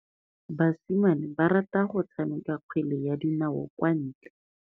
Basimane ba rata go tshameka kgwele ya dinaô kwa ntle.